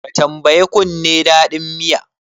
Ka tambayi kunne dadin miya?